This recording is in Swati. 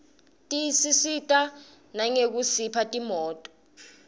tisisita nangekusipha timoto